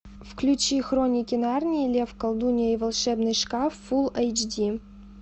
включи хроники нарнии лев колдунья и волшебный шкаф фул эйч ди